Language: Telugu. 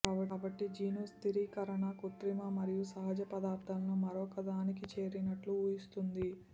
కాబట్టి జీను స్థిరీకరణ కృత్రిమ మరియు సహజ పదార్ధాలను మరొకదానికి చేరినట్లు ఊహిస్తుంది